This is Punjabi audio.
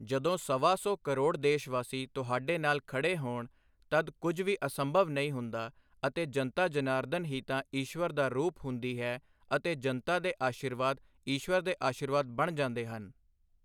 ਜਦੋਂ ਸਵਾ ਸੌ ਕਰੋੜ ਦੇਸ਼ ਵਾਸੀ ਤੁਹਾਡੇ ਨਾਲ ਖੜ੍ਹੇ ਹੋਣ, ਤਦ ਕੁਝ ਵੀ ਅਸੰਭਵ ਨਹੀਂ ਹੁੰਦਾ ਅਤੇ ਜਨਤਾ ਜਨਾਰਦਨ ਹੀ ਤਾਂ ਈਸ਼ਵਰ ਦਾ ਰੂਪ ਹੁੰਦੀ ਹੈ ਅਤੇ ਜਨਤਾ ਦੇ ਅਸ਼ੀਰਵਾਦ, ਈਸ਼ਵਰ ਦੇ ਅਸ਼ੀਰਵਾਦ ਬਣ ਜਾਂਦੇ ਹਨ।